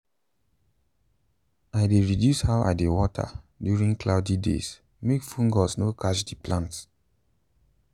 i reduce how i dey water during cloudy days make fungus no catch the plants.